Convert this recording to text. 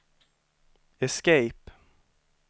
escape